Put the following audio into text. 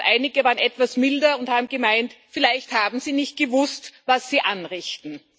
Und einige waren etwas milder und haben gemeint Vielleicht haben sie nicht gewusst, was sie anrichten.